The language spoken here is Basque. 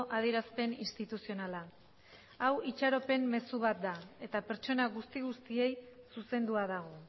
adierazpen instituzionala hau itxaropen mezu bat eta pertsona guzti guztiei zuzendua dago